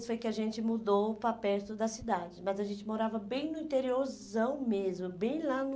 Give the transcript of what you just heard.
foi que a gente mudou para perto da cidade, mas a gente morava bem no interiorzão mesmo, bem lá no...